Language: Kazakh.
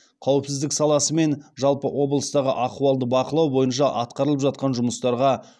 қауіпсіздік саласы мен жалпы облыстағы ахуалды бақылау бойынша атқарылып жатқан жұмыстарға